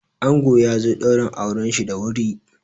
Ango yazo ɗaurin auranshi da wuri.